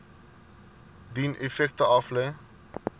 dien effekte aflê